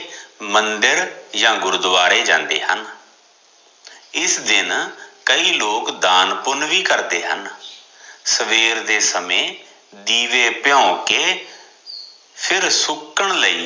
ਮੰਦਿਰ ਜਾਂ ਗੁਰਦਵਾਰੇ ਜਾਂਦੇ ਹਨ ਇਸ ਦਿਨ ਕਈ ਲੋਕ ਦਾਨ ਪੁੰਨ ਵੀ ਕਰਦੇ ਹਨ, ਸਵੇਰ ਦੇ ਸਮੇਂ ਦੀਵੇ ਪੀਓੰ ਕੇ ਫਿਰ ਸੁੱਕਣ ਲਈ